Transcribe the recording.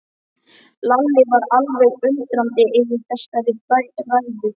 Lalli var alveg undrandi yfir þessari ræðu.